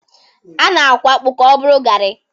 A na-akwọ akpụ ka ọ bụrụ Gari.